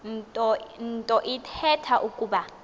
nto ithetha ukuba